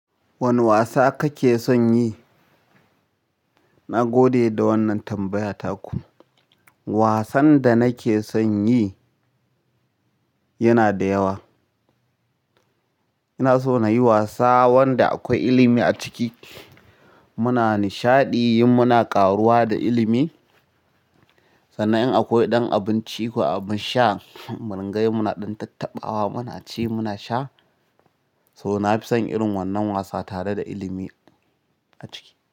Wane wasa kake son yi? Na gode da wannan tambaya taku. Wasan da nake son yi yana da yawa. Ina so na yi wasa wanda akwai ilimi a ciki. Muna nishaɗi yin muna ƙaruwa da ilimi. Sannan in akwai ɗan abinci ko abin sha, mun ringa yi muna ɗan tattaɓawa muna ci muna sha. So na fi son irin wannan wasa tare da ilimi a ciki.